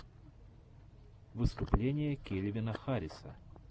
выступление кельвина харриса